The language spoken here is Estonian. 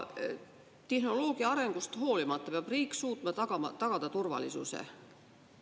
Tehnoloogia arengust hoolimata peab riik suutma tagada turvalisuse.